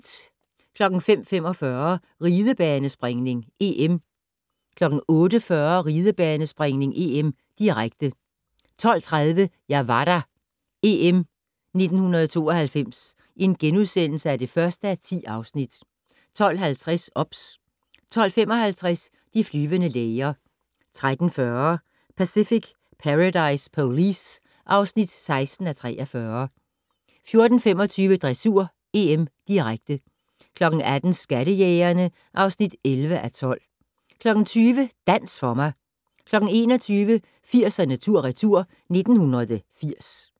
05:45: Ridebanespringning: EM 08:40: Ridebanespringning: EM, direkte 12:30: Jeg var der - EM 1992 (1:10)* 12:50: OBS 12:55: De flyvende læger 13:40: Pacific Paradise Police (16:43) 14:25: Dressur: EM, direkte 18:00: Skattejægerne (11:12) 20:00: Dans for mig 21:00: 80'erne tur/retur: 1980